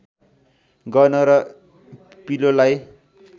गर्न र पिलोलाई